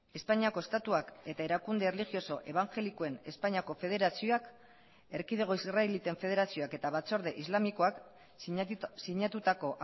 espainiako estatuak eta erakunde erlijioso ebangelikoen espainiako federazioak erkidego israeliten federazioak eta batzorde islamikoak sinatutako